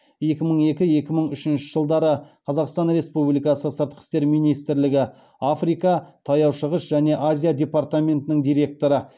екі мың екі екі мың үшінші жылдары қазақстан республикасы сыртқы істер министрлігі африка таяу шығыс және азия департаментінің директоры